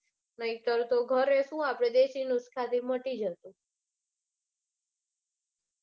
નાઇતર તો ઘરે સુ આપડે મટી જતું.